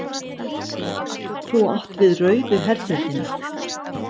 Þú átt við rauðu herdeildina.